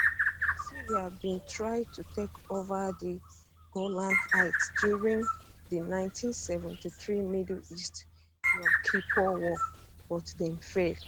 syria bin try to take ova di golan heights during di 1973 middle east yom kippur war but dem fail